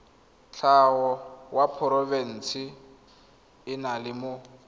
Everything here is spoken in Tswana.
tlhago wa moporofe enale mo